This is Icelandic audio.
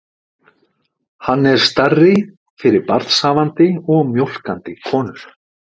Hann er stærri fyrir barnshafandi og mjólkandi konur.